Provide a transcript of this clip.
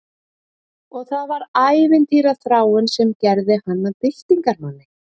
Og það var ævintýraþráin sem gerði hann að byltingarmanni